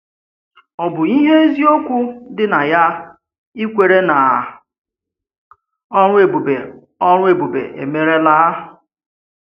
Ọ̀ bụ́ ihe ezi ùchè dị na ya ikwere na ọrụ ebùbé ọrụ ebùbé emèrèlá?